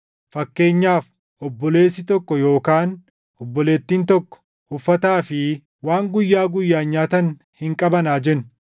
Fakkeenyaaf obboleessi tokko yookaan obboleettiin tokko uffataa fi waan guyyaa guyyaan nyaatan hin qaban haa jennu.